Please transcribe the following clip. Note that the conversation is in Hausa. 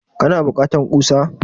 kana bukata kusa?